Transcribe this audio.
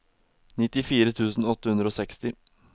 nittifire tusen åtte hundre og seksti